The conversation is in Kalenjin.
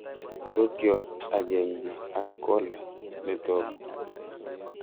Sokyot akenke ak collar netoku